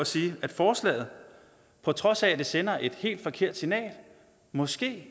sige at forslaget på trods af at det sender et helt forkert signal måske